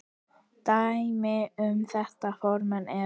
Dæmi um þetta form eru